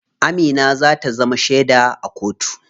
Amina za ta zama sheda a kotu.